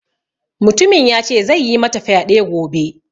Mutumin ya ce zai yi mata fyade gobe.